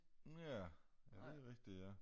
Ja ja det rigtigt ja